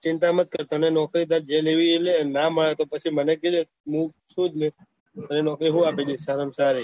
ચિંતા મત કર તને નોકરી ભાઈ જે એ નહી ના મળે તો મને કેહ્જે હું છું જ ને તને નોકરી હું આપી દયીસ સારી માં સારી